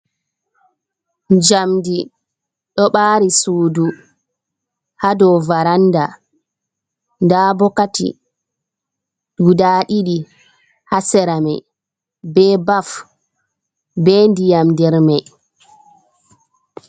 Jamdi ɗo ɓari sudu ha dou varanda, nda bokati guda ɗiɗi ha sera mai, be baf be ndiyam nder mai.